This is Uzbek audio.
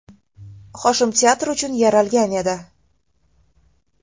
Hoshim teatr uchun yaralgan edi.